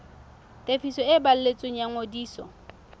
tefiso e balletsweng ya ngodiso